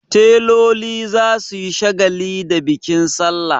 Teloli za su yi shagali da bikin salla.